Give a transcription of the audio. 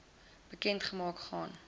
bekend gemaak gaan